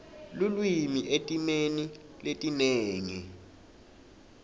lulwimi etimeni letinengi